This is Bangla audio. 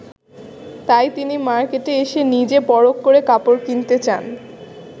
তাই তিনি মার্কেটে এসে নিজে পরখ করে কাপড় কিনতে চান।